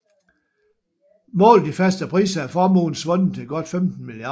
Målt i faste priser er formuen svundet til godt 15 milliarder